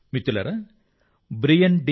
మిత్రులారా Brian D